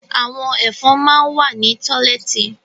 Àwọn Ẹ̀fọ̀n máa ń wà ní tọ́lẹ́ẹ́tì